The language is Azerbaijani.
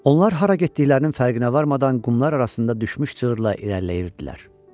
Onlar hara getdiklərinin fərqinə varmadan qumlar arasında düşmüş cığırla irəliləyirdilər.